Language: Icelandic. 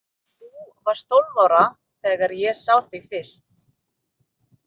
Þú varst tólf ára þegar ég sá þig fyrst.